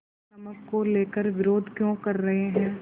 पर नमक को लेकर विरोध क्यों कर रहे हैं